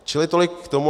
Čili tolik k tomu.